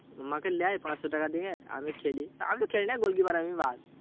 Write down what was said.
আমাকে লেয় পাঁচশো টাকা দিয়ে, আমি খেলি। আমিতো খেলিনা গোল কীপার আমি ব্যাস।